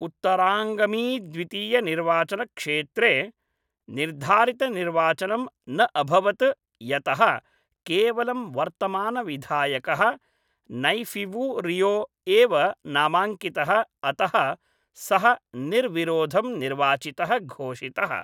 उत्तराङ्गमीद्वितीयनिर्वाचनक्षेत्रे निर्धारितनिर्वाचनं न अभवत् यतः केवलं वर्तमानविधायकः नैफ़िवु रियो एव नामाङ्कितः अतः सः निर्विरोधं निर्वाचितः घोषितः।